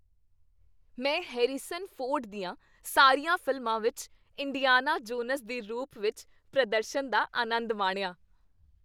ਮੈਂ Harrison Ford ਦੀਆਂ ਸਾਰੀਆਂ ਫ਼ਿਲਮਾਂ ਵਿੱਚ ਇੰਡੀਆਨਾ ਜੋਨਸ ਦੇ ਰੂਪ ਵਿੱਚ ਪ੍ਰਦਰਸ਼ਨ ਦਾ ਆਨੰਦ ਮਾਣਿਆ।